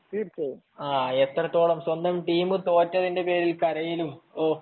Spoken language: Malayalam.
എത്രത്തോളം ഒരു സ്വന്തം ടീം തോറ്റതിന്റെ പേരിൽ കരയലും